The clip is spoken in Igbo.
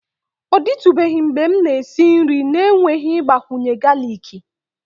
Ọ dịtụbeghị mgbe m na-esi nri n'enweghị ịgbakwunye galiki